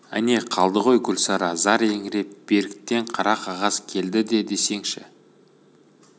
әне қалды ғой гүлсара зар еңіреп беріктен қара қағаз келді де десеңші